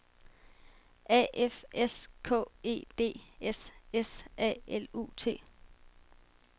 A F S K E D S S A L U T